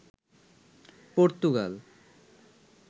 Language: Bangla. পর্তুগাল